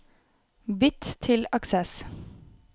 Bytt til Access